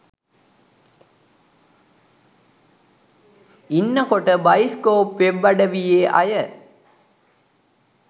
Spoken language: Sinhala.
ඉන්න කොට බයිස්කෝප් වෙබ් අඩවියේ අය